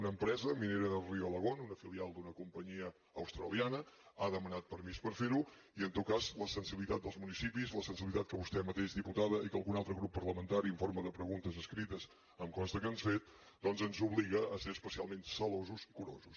una empresa minera del río alagón una filial d’una companyia australiana ha demanat permís per fer ho i en tot cas la sensibilitat dels municipis la sensibilitat que vostè mateixa diputada i que algun altre grup parlamentari en forma de preguntes escrita em consta que han fet doncs ens obliga a ser especialment gelosos i curosos